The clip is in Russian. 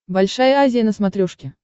большая азия на смотрешке